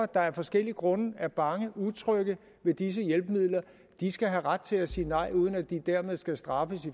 der af forskellige grunde er bange utrygge ved disse hjælpemidler de skal have ret til at sige nej uden at de dermed skal straffes